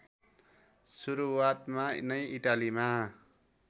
सुरुवातमा नै इटालीमा